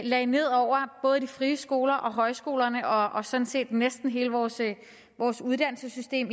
lagde ned over både de frie skoler og højskolerne og sådan set næsten hele vores vores uddannelsessystem